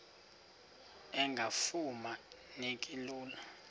engafuma neki lula